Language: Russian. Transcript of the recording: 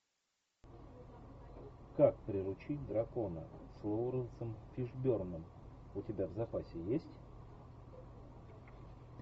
как приручить дракона с лоуренсом фишберном у тебя в запасе есть